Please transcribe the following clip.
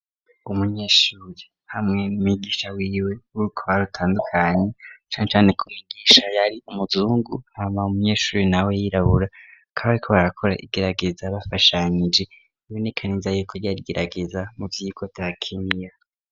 Umunyeshuri hamwe n'umwigisha wiwe b'urukoba rutandukanye, cane cane ko umwigisha yari umuhungu, hama umunyeshure nawe yirabura, bakaba bariko barakora igerageza bafashanyije, biboneka ko ryar'igerageza muvyigwa vya Kinyinya.